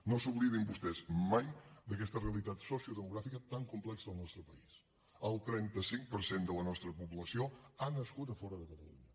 no s’oblidin vostès mai d’aquesta realitat sociodemogràfica tan complexa al nostre país el trenta cinc per cent de la nostra població ha nascut a fora de catalunya